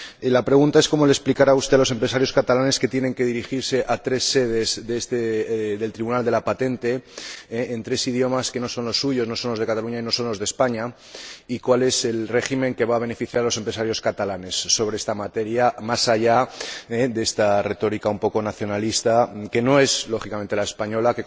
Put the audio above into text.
La pregunta es cómo le explicará usted a los empresarios catalanes que tienen que dirigirse a tres sedes del Tribunal de la patente, en tres idiomas que no son los suyos, no son los de Cataluña y no son los de España, y cuál es el régimen que va a beneficiar a los empresarios catalanes sobre esta materia, más allá de esta retórica un poco nacionalista que no es, lógicamente, la española.